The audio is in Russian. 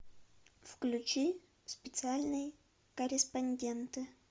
включи специальные корреспонденты